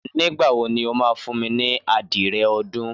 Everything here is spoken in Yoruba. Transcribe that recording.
Nígbà wo ni o máa fún mi ní adìyẹ ọdún?